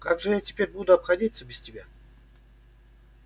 как же я теперь буду обходиться без тебя